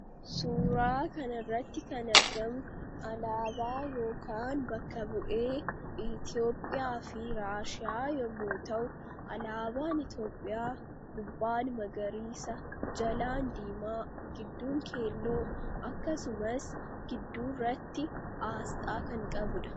Suuraa kana irratti kan argamu alaabaa yookaan bakka bu'ee Itoophiyhaafi Raashiyaa yemmuu ta'u, alaabaan Itoophiyaa gubbaan magariisa, jalaan diimaa, gidduun keelloo akkasumas gidduu irratti aasxaa kan qabudha.